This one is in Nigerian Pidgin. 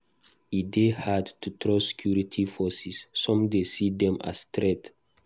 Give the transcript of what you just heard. E dey hard to trust security forces; some dey see dem as threat.